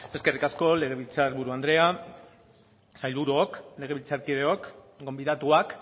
eskerrik asko legebiltzar buru andrea sailburuok legebiltzarkideok gonbidatuak